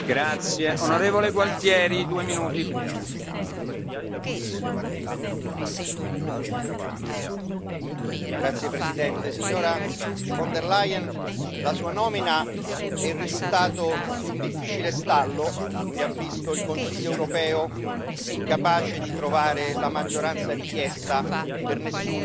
Signor Presidente, onorevoli colleghi, signora von der Leyen, la Sua nomina è il risultato di un difficile stallo che ha visto il Consiglio europeo incapace di trovare la maggioranza richiesta per nessuno degli Spitzenkandidaten. È una possibilità prevista dalle regole